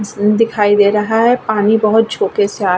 दिखाई दे रहा है पानी बहुत झोके से आ --